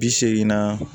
Bi segin na